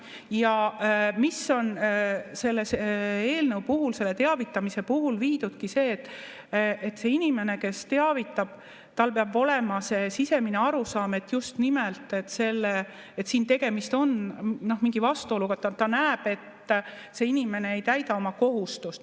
Ja mis on selle eelnõu puhul, selle teavitamise puhul viidudki, on see, et inimesel, kes teavitab, peab olema see sisemine arusaam, et just nimelt tegemist on mingi vastuoluga, kui ta näeb, et see inimene ei täida oma kohustust.